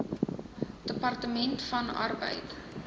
departement van arbeid